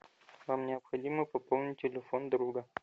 вам необходимо пополнить телефон друга